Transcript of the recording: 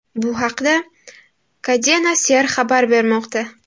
Bu haqda Cadena Ser xabar bermoqda .